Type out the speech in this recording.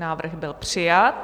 Návrh byl přijat.